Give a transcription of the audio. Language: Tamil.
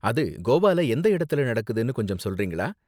அது கோவால எந்த இடத்துல நடக்குதுனு கொஞ்சம் சொல்றீங்களா?